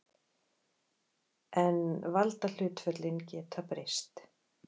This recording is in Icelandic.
En valdahlutföllin geta breyst.